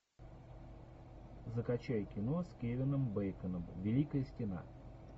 закачай кино с кевином бейконом великая стена